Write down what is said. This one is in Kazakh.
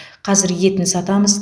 қазір етін сатамыз